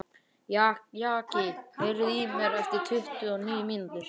Jaki, heyrðu í mér eftir tuttugu og níu mínútur.